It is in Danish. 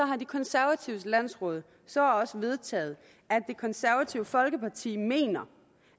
har de konservatives landsråd så også vedtaget at det konservative folkeparti mener